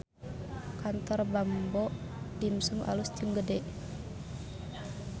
Kantor Bamboo Dimsum alus jeung gede